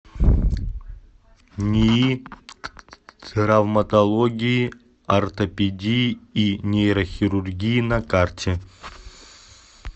нии травматологии ортопедии и нейрохирургии на карте